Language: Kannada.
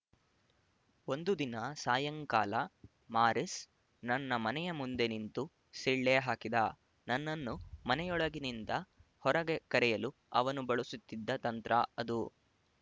ಒಂದು ದಿನ ಸಾಯಂಕಾಲ ಮಾರಿಸ್ ನನ್ನ ಮನೆಯ ಮುಂದೆ ನಿಂತು ಸಿಳ್ಳೆ ಹಾಕಿದ ನನ್ನನ್ನು ಮನೆಯೊಳಗಿನಿಂದ ಹೊರಗೆ ಕರೆಯಲು ಅವನು ಬಳಸುತ್ತಿದ್ದ ತಂತ್ರ ಅದು